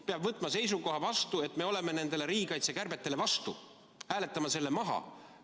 – peab võtma seisukoha, et me oleme riigikaitse kärbetele vastu, hääletame selle maha.